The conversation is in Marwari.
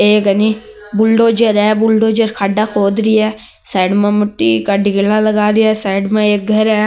ए घनी बुलडोजर है बुलडोजर खाडा खोद रही है साइड में मिट्टी का ढेरा लगा रही है साइड मे एक घर है।